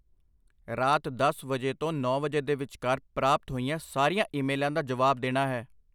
ਰਾਤ ਦੱਸ ਵਜੇ ਤੋਂ ਨੌਂ ਵਜੇ ਦੇ ਵਿਚਕਾਰ ਪ੍ਰਾਪਤ ਹੋਈਆਂ ਸਾਰੀਆਂ ਈਮੇਲਾਂ ਦਾ ਜਵਾਬ ਦੇਣਾ ਹੈ।